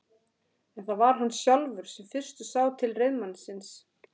En það var hann sjálfur sem fyrstur sá til reiðmannsins.